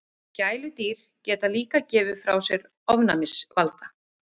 Gæludýr geta líka gefið frá sér ofnæmisvalda.